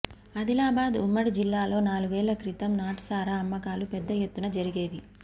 ఆదిలాబాద్ ఉమ్మడి జిల్లాలో నాలుగేళ్ల క్రితం నాటుసారా అమ్మకాలు పెద్ద ఎత్తున జరిగేవి